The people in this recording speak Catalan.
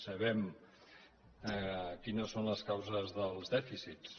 sabem quines són les causes dels dèficits